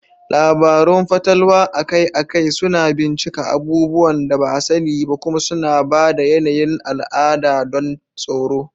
Labarun fatalwa akai-akai suna bincika abubuwan da ba a sani ba kuma suna ba da yanayin al'ada don tsoro.